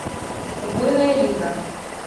убойная лига